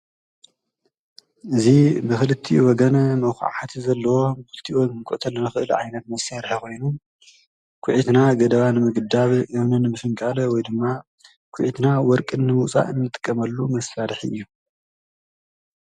እዙ ብኽልቲ ወገነ መዉዂዓዓት ዘለዎ ኲልቲወ ምቈተል ንኽእል ዓይነት መሴይርሕኾይኑን ኲዕትና ገደባን ምግዳብ የምንን ምስንቃለ ወይ ድማ ኲዒትና ወርቅን ዉጻእ እምትቀመሉ ምፋድሕ እዩ ።